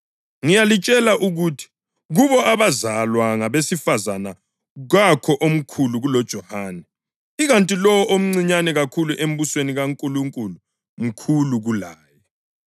Ngiyalitshela ukuthi kubo abazalwa ngabesifazane kakho omkhulu kuloJohane; ikanti lowo omncinyane kakhulu embusweni kaNkulunkulu mkhulu kulaye.”